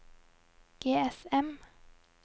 GSM